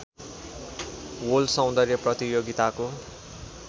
world सौन्दर्य प्रतियोगिताको